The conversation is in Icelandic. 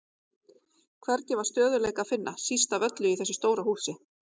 Hvergi var stöðugleika að finna, síst af öllu í þessu stóra húsi.